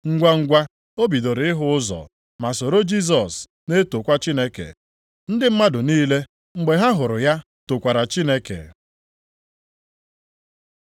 Ngwangwa, o bidoro ịhụ ụzọ ma soro Jisọs, na-etokwa Chineke. Ndị mmadụ niile, mgbe ha hụrụ ya tokwara Chineke.